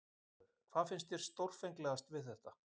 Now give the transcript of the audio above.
Fréttamaður: Hvað finnst þér stórfenglegast við þetta?